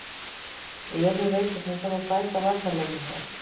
Eyjólfur veit að það þarf að bæta varnarleikinn hjá okkur.